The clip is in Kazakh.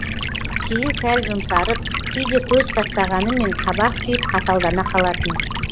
кейін сәл жұмсарып кейде көз тастағанымен қабақ түйіп қаталдана қалатын